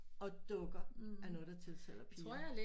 Og dukker er noget der tiltaler piger